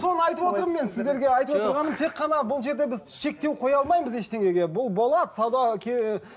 соны айтып отырмын мен сіздерге айтып отырғаным тек қана бұл жерде біз шектеу қоя алмаймыз ештеңеге бұл болады сауда